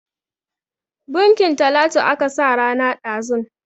Bunkin Talatu aka sa rana ɗazun.